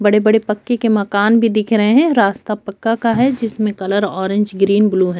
बड़े- बड़े पक्के के मकान भी दिख रहे है और रास्ता पक्का का है जिसमें कलर ऑरेंज ग्रीन ब्लू हैं।